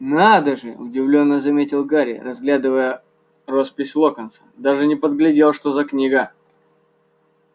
надо же удивлённо заметил гарри разглядывая роспись локонса даже не подглядел что за книга